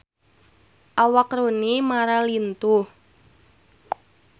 Awak Rooney Mara lintuh